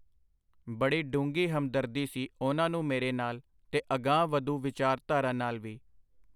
ਬੜੀ ਡੂੰਘੀ ਹਮਦਰਦੀ ਸੀ ਉਹਨਾਂ ਨੂੰ ਮੇਰੇ ਨਾਲ, ਤੇ ਅਗਾਂਹ-ਵਧੂ ਵਿਚਾਰਧਾਰਾ ਨਾਲ ਵੀ.